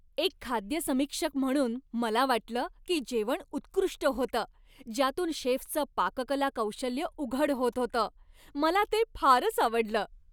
एक खाद्य समीक्षक म्हणून, मला वाटलं की जेवण उत्कृष्ट होतं, ज्यातून शेफचं पाककला कौशल्य उघड होत होतं. मला ते फारच आवडलं.